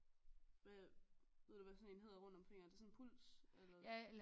Hvad ved du hvad sådan en hedder rundt omkring er det sådan en puls eller